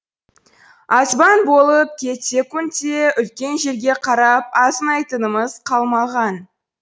азбан болып кетсекунд те үлкен жерге қарап азынайтынымыз қалмаған